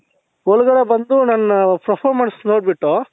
ಒಳಗಡೆ ಬಂದು ನನ್ performance ನೋಡ್ಬಿಟ್ಟು